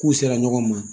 K'u sera ɲɔgɔn ma